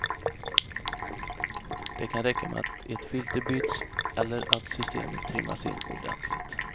Det kan räcka med att ett filter byts eller att systemet trimmas in ordentligt.